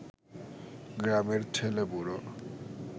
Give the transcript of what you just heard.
গ্রামের ছেলে-বুড়ো